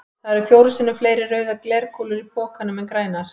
Það eru fjórum sinnum fleiri rauðar glerkúlur í pokanum en grænar.